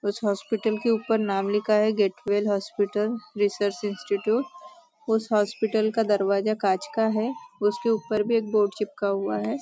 उस हॉस्पिटल के ऊपर नाम लिखा हुआ है get well hospital research institute उस हॉस्पिटल का दरवाजा कांच का है उसके ऊपर भी बोर्ड चिपका हुआ है।